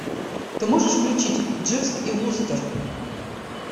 ты можешь включить дживс и вустер